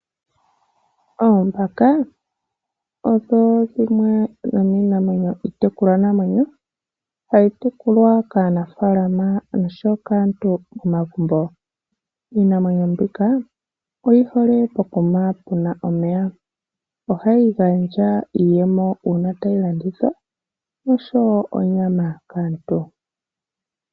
Oombaka odho dhimwe dhomiitekulwa namwenyo tayi tekulwa kaanafaalama noshowo kaantu momagumbo. Iinamwenyo mbika oyi hole pokuma puna omeya, ohayi gandja iiyemo uuna tayi landithwa, oshowo onyama kaantu.